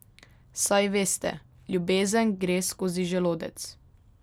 Saj veste, ljubezen gre skozi želodec.